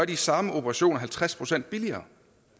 de samme operationer halvtreds procent billigere